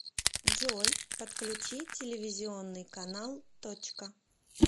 джой подключи телевизионный канал точка